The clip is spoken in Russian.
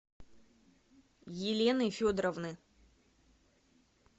елены федоровны